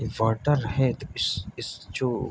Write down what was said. ये बॉटल है इस इस जो --